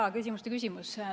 Jaa, küsimuste küsimus.